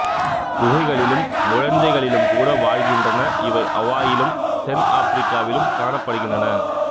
குகைகளிலும் முழைஞ்சுகளிலும் கூட வாழ்கின்றன இவைஅவாயிலும் தென் ஆப்பிரிக்காவிலும் காணப்படுகின்றன